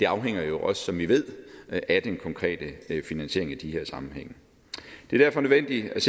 afhænger jo også som vi ved af den konkrete finansiering i de her sammenhænge det er derfor nødvendigt